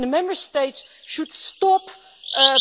The Member States should stop